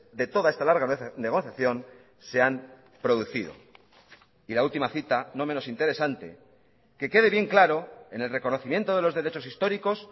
de toda esta larga negociación se han producido y la última cita no menos interesante que quede bien claro en el reconocimiento de los derechos históricos